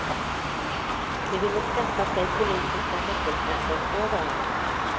De ville skaffa sig politiska nyckelposter överallt.